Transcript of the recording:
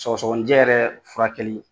Sɔgɔsɔnijɛ yɛrɛ furakɛli